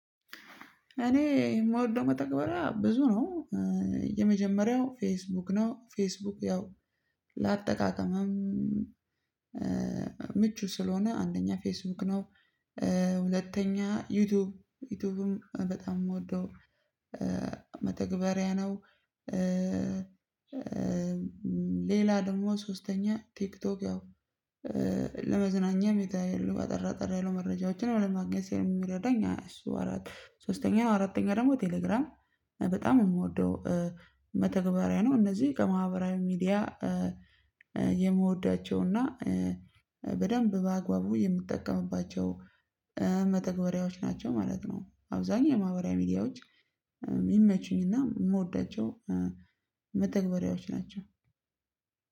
እኔ የምወደው መተግበሪያ ብዙ ነው። የመጀመሪያው ፌስቡክ ነው ፌስቡክ ያው ለአጠቃቀምም ምቹ ስለሆነ አንደኛ ፌስቡክ ነው። ሁለተኛ ዩቲዩብ ዩቲዩብም በጣም የምወደው መተግበሪያ ነው። ሌላ ደግሞ ሶስተኛ ቲክቶክ ነው። ሚታይ የለውም አጠር አጠር ያሉ መረጃዎችን ለማግኘት ሲል የሚረዳኝ እሱ። ሶስተኛው አራተኛ ደግሞ ቴሌግራም በጣም የምወደው መተግበሪያ ነው። እነዚህ ከማህበራዊ ሚዲያ የምወዷቸውና በደንብ በአግባቡ የምትጠቀሙባቸው መተግበሪያዎች ናቸው ማለት ነው። አብዛኛው የማህበራዊ ሚዲያዎች ይመቹኝና የምወዳቸው መተግበሪያዎች ናቸው።